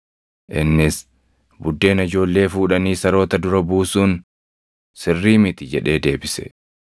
Innis, “Buddeena ijoollee fuudhanii saroota dura buusuun sirrii miti” jedhee deebise.